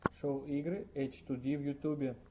шоу игры эчтуди в ютубе